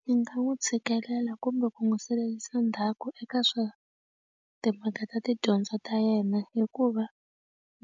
Ndzi nga n'wi tshikelela kumbe ku n'wi salela ndzhaku eka swa timhaka ta tidyondzo ta yena hikuva